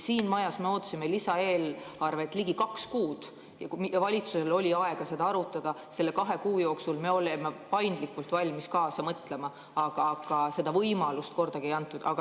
Siin majas me ootasime lisaeelarvet ligi kaks kuud, valitsusel oli aega seda arutada, nende kahe kuu jooksul me olime valmis paindlikult kaasa mõtlema, aga seda võimalust kordagi ei antud.